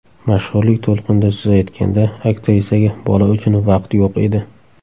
Mashhurlik to‘lqinida suzayotganda, aktrisaga bola uchun vaqt yo‘q edi.